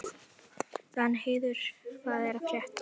Danheiður, hvað er að frétta?